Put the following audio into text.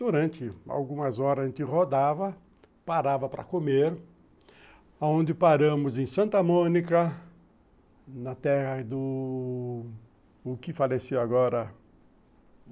Durante algumas horas, a gente rodava, parava para comer, aonde paramos em Santa Mônica, na terra do... o que faleceu agora?